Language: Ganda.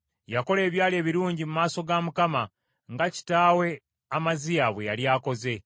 Yakola ebyali ebirungi mu maaso ga Mukama , nga kitaawe Amaziya bwe yali akoze.